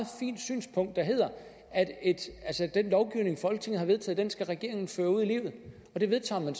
fint synspunkt om at den lovgivning folketinget har vedtaget skal regeringen føre ud i livet og det vedtager man